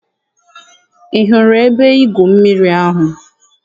Ị hụrụ ebe-igwụ mmiri ahụ?